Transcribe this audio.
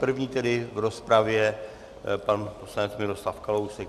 První tedy v rozpravě pan poslanec Miroslav Kalousek.